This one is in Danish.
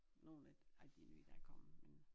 Nogen af af de nye der er kommet men